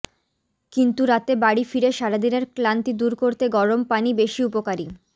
কিন্তু রাতে বাড়ি ফিরে সারাদিনের ক্লান্তি দূর করতে গরম পানি বেশি উপকারী